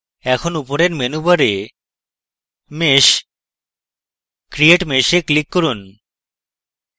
এখন উপরের menu bar mesh>> create mesh এ click করুন